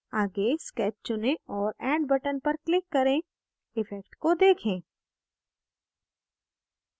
आगे sketch चुनें और add button पर click करें इफ़ेक्ट को देखें